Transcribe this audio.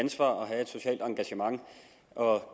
ansvar og have et socialt engagement og